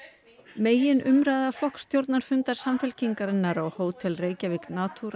meginumræða flokksstjórnarfundar Samfylkingarinnar á Hótel Reykjavík Natura